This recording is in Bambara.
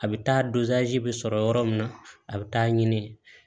A bɛ taa bɛ sɔrɔ yɔrɔ min na a bɛ taa ɲini